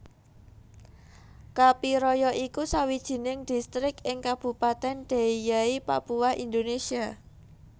Kapiraya iku sawiining distrik ing Kabupatèn Deiyai Papua Indonésia